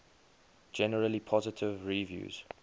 generally positive reviews